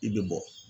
I bɛ bɔ